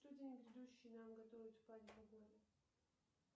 что день грядущий нам готовит в плане погоды